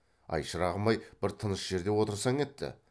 ай шырағым ай бір тыныш жерде отырсаң етті